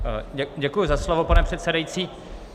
Děkuji za slovo, pane předsedající.